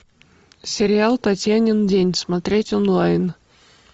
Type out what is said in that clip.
сериал татьянин день смотреть онлайн